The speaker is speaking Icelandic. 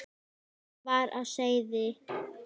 var á seyði.